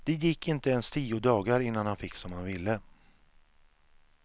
Det gick inte ens tio dagar innan han fick som han ville.